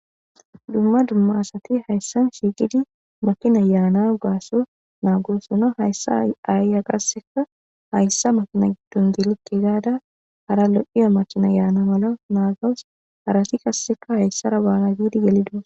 Dumma dumma asat haysan shiqid makinay Yana gatho nanigosona . Haysa ayiya qaseka hayisa makina gidon gelike gada hara lo'iya makinay Yana mala nagawus harati qaseka haysara bana gid gelid uti...